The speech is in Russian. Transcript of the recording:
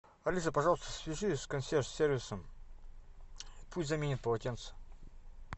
алиса пожалуйста свяжись с консьерж сервисом пусть заменят полотенца